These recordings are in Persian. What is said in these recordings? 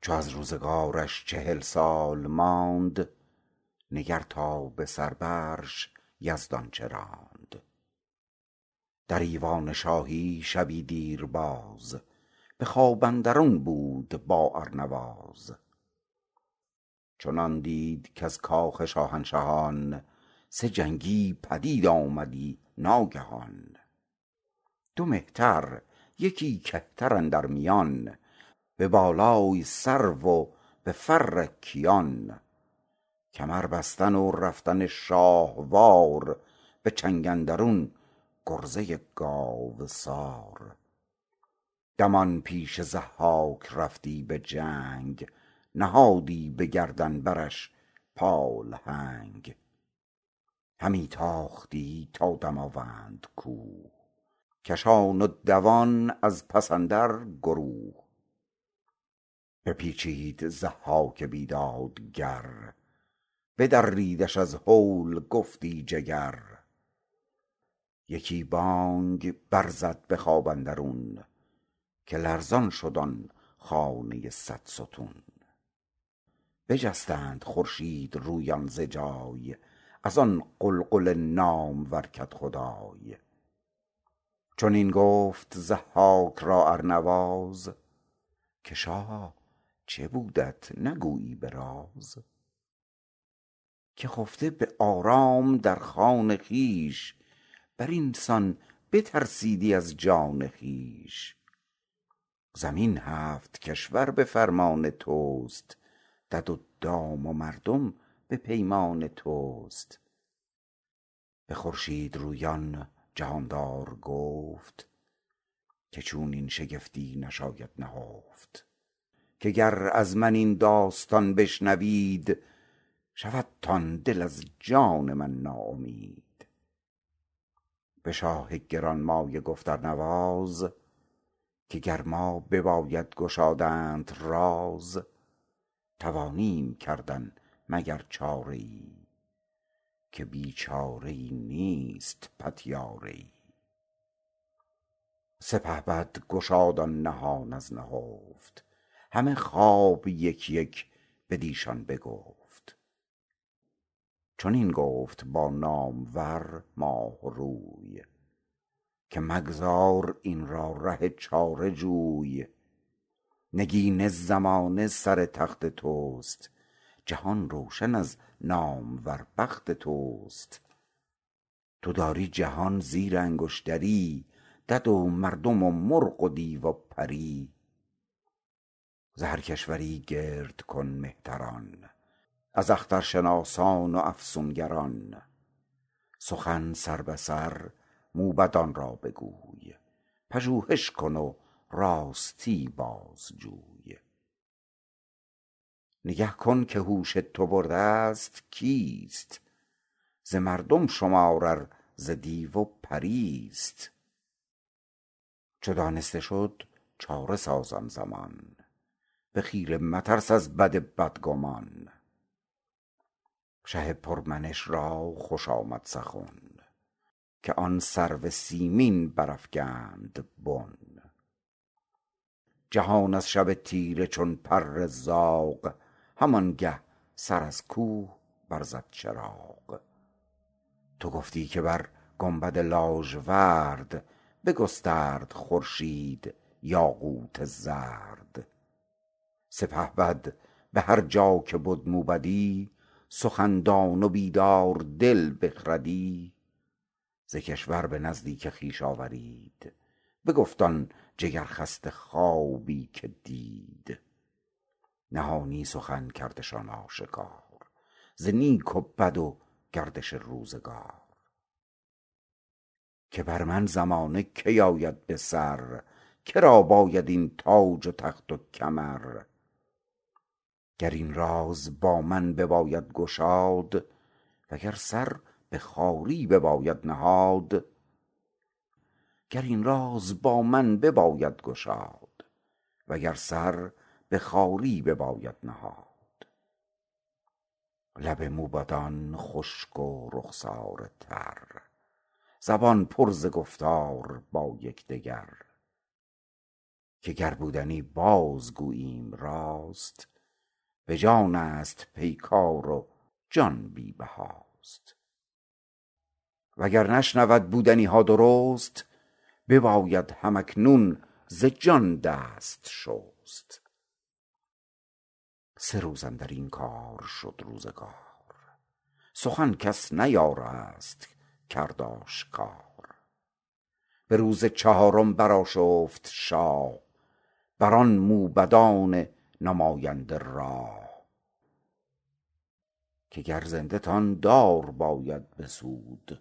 چو از روزگارش چهل سال ماند نگر تا به سر برش یزدان چه راند در ایوان شاهی شبی دیر یاز به خواب اندرون بود با ارنواز چنان دید کز کاخ شاهنشهان سه جنگی پدید آمدی ناگهان دو مهتر یکی کهتر اندر میان به بالای سرو و به فر کیان کمر بستن و رفتن شاهوار به چنگ اندرون گرزه گاوسار دمان پیش ضحاک رفتی به جنگ نهادی به گردن برش پالهنگ همی تاختی تا دماوند کوه کشان و دوان از پس اندر گروه بپیچید ضحاک بیدادگر بدریدش از هول گفتی جگر یکی بانگ بر زد به خواب اندرون که لرزان شد آن خانه صدستون بجستند خورشیدرویان ز جای از آن غلغل نامور کدخدای چنین گفت ضحاک را ارنواز که شاها چه بودت نگویی به راز که خفته به آرام در خان خویش بر این سان بترسیدی از جان خویش زمین هفت کشور به فرمان تو است دد و دام و مردم به پیمان تو است به خورشیدرویان جهاندار گفت که چونین شگفتی بشاید نهفت که گر از من این داستان بشنوید شودتان دل از جان من ناامید به شاه گرانمایه گفت ارنواز که بر ما بباید گشادنت راز توانیم کردن مگر چاره ای که بی چاره ای نیست پتیاره ای سپهبد گشاد آن نهان از نهفت همه خواب یک یک بدیشان بگفت چنین گفت با نامور ماهروی که مگذار این را ره چاره جوی نگین زمانه سر تخت تو است جهان روشن از نامور بخت تو است تو داری جهان زیر انگشتری دد و مردم و مرغ و دیو و پری ز هر کشوری گرد کن مهتران از اخترشناسان و افسونگران سخن سربه سر موبدان را بگوی پژوهش کن و راستی بازجوی نگه کن که هوش تو بر دست کیست ز مردم شمار ار ز دیو و پریست چو دانسته شد چاره ساز آن زمان به خیره مترس از بد بدگمان شه پر منش را خوش آمد سخن که آن سرو سیمین برافگند بن جهان از شب تیره چون پر زاغ همانگه سر از کوه بر زد چراغ تو گفتی که بر گنبد لاژورد بگسترد خورشید یاقوت زرد سپهبد به هر جا که بد موبدی سخن دان و بیداردل بخردی ز کشور به نزدیک خویش آورید بگفت آن جگرخسته خوابی که دید نهانی سخن کردشان آشکار ز نیک و بد و گردش روزگار که بر من زمانه کی آید بسر که را باشد این تاج و تخت و کمر گر این راز با من بباید گشاد و گر سر به خواری بباید نهاد لب موبدان خشک و رخساره تر زبان پر ز گفتار با یکدگر که گر بودنی باز گوییم راست به جانست پیکار و جان بی بهاست و گر نشنود بودنی ها درست بباید هم اکنون ز جان دست شست سه روز اندر این کار شد روزگار سخن کس نیارست کرد آشکار به روز چهارم برآشفت شاه بر آن موبدان نماینده راه که گر زنده تان دار باید بسود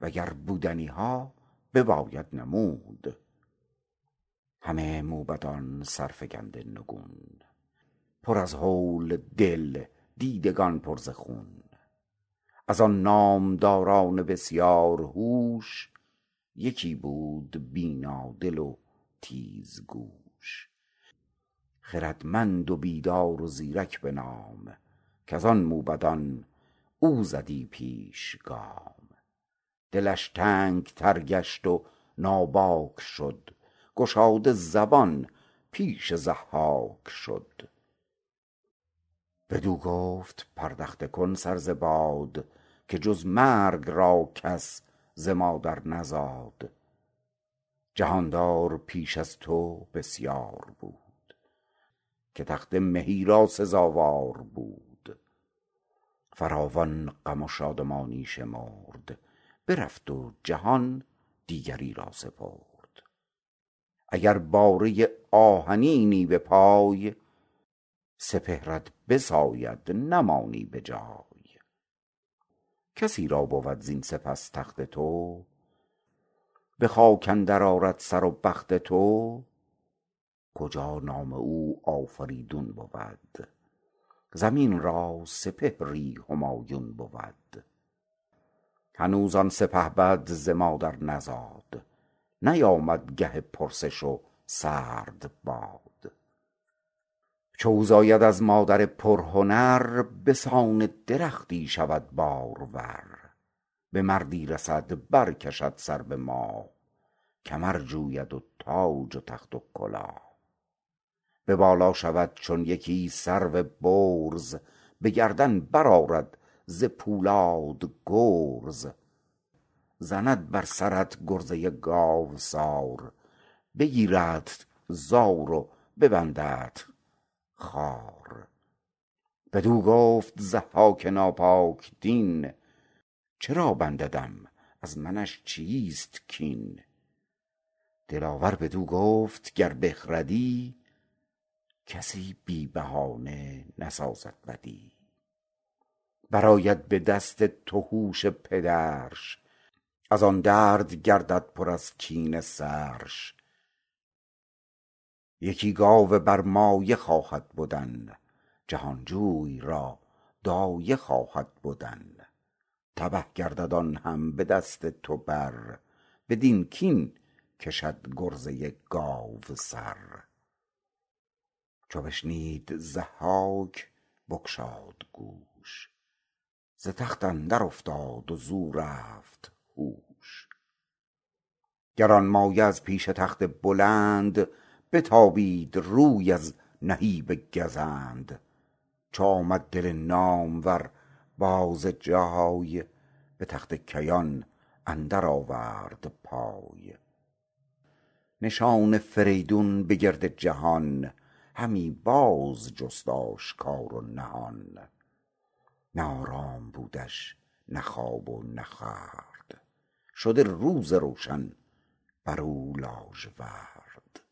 و گر بودنی ها بباید نمود همه موبدان سرفگنده نگون پر از هول دل دیدگان پر ز خون از آن نامداران بسیار هوش یکی بود بینادل و تیزگوش خردمند و بیدار و زیرک به نام کز آن موبدان او زدی پیش گام دلش تنگ تر گشت و ناباک شد گشاده زبان پیش ضحاک شد بدو گفت پردخته کن سر ز باد که جز مرگ را کس ز مادر نزاد جهاندار پیش از تو بسیار بود که تخت مهی را سزاوار بود فراوان غم و شادمانی شمرد برفت و جهان دیگری را سپرد اگر باره آهنینی به پای سپهرت بساید نمانی به جای کسی را بود زین سپس تخت تو به خاک اندر آرد سر و بخت تو کجا نام او آفریدون بود زمین را سپهری همایون بود هنوز آن سپهبد ز مادر نزاد نیامد گه پرسش و سرد باد چو او زاید از مادر پرهنر به سان درختی شود بارور به مردی رسد بر کشد سر به ماه کمر جوید و تاج و تخت و کلاه به بالا شود چون یکی سرو برز به گردن برآرد ز پولاد گرز زند بر سرت گرزه گاوسار بگیردت زار و ببنددت خوار بدو گفت ضحاک ناپاک دین چرا بنددم از منش چیست کین دلاور بدو گفت گر بخردی کسی بی بهانه نسازد بدی برآید به دست تو هوش پدرش از آن درد گردد پر از کینه سرش یکی گاو برمایه خواهد بدن جهانجوی را دایه خواهد بدن تبه گردد آن هم به دست تو بر بدین کین کشد گرزه گاوسر چو بشنید ضحاک بگشاد گوش ز تخت اندر افتاد و زو رفت هوش گرانمایه از پیش تخت بلند بتابید روی از نهیب گزند چو آمد دل نامور باز جای به تخت کیان اندر آورد پای نشان فریدون به گرد جهان همی باز جست آشکار و نهان نه آرام بودش نه خواب و نه خورد شده روز روشن بر او لاژورد